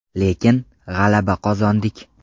Lekin, g‘alaba qozondik.